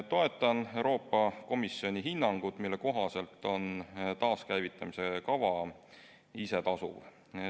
Toetan Euroopa Komisjoni hinnangut, mille kohaselt on taaskäivitamise kava isetasuv.